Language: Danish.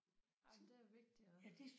Jamen det er vigtigt og